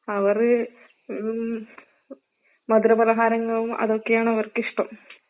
അവറ് ഉും മധുര പലഹാരങ്ങളും അതൊക്കെയാണ് അവർക്ക് ഇഷ്ടം.